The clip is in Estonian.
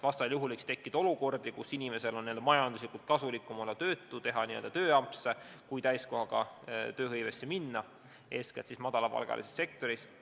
Vastasel juhul võiks tekkida olukordi, kus inimesel on majanduslikult kasulikum olla tööta ja teha tööampse ning mitte täiskohaga tööle minna, seda eeskätt siis madalapalgalises sektoris.